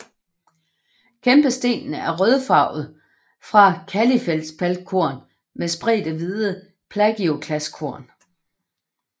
Kæmpestenen er rødfarvet fra kalifeldspatkorn med spredte hvide plagioklaskorn